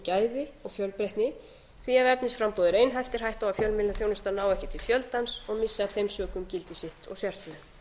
gæði og fjölbreytni því ef efnisframboð er einhæft er hætta á að fjölmiðlaþjónustan nái ekki til fjöldans og missi af þeim sökum gildi sitt og sérstöðu